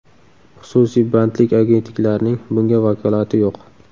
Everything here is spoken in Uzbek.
Xususiy bandlik agentliklarining bunga vakolati yo‘q.